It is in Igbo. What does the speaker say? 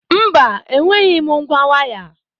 Mba, enweghị m ngwa waya.